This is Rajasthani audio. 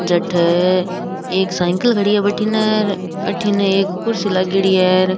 जठे एक साइकिल खड़ी है और भटीने एक कुर्सी लागेड़ी है और --